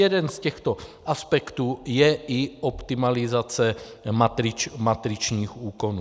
Jeden z těchto aspektů je i optimalizace matričních úkonů.